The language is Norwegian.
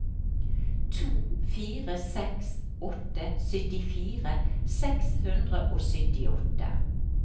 to fire seks åtte syttifire seks hundre og syttiåtte